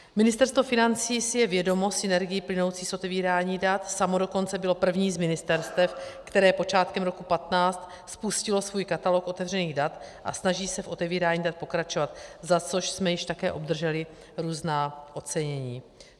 Ministerstvo financí si je vědomo synergií plynoucích z otevírání dat, samo dokonce bylo první z ministerstev, které počátkem roku 2015 spustilo svůj katalog otevřených dat, a snaží se v otevírání dat pokračovat, za což jsme již také obdrželi různá ocenění.